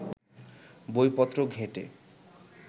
বইপত্র ঘেঁটে